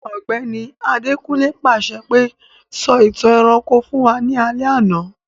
Ògbẹ́ni Adekunle pàṣẹ pe, 'Sọ ìtàn ẹranko fun wa ni alẹ́ àná'